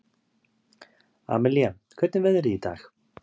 Amilía, hvernig er veðrið í dag?